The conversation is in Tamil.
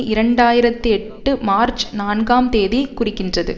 இரண்டு ஆயிரத்தெட்டு மார்ச் நான்காம் தேதி குறிக்கின்றது